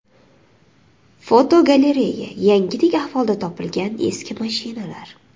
Fotogalereya: Yangidek ahvolda topilgan eski mashinalar.